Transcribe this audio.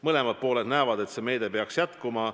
Mõlemad pooled näevad, et see meede peaks jätkuma.